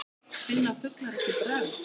Finna fuglar ekki bragð?